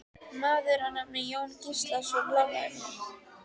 Maður að nafni Jón Gíslason lánaði mér.